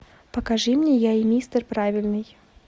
покажи мне я и мистер правильный